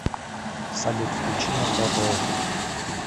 салют включи мотор ру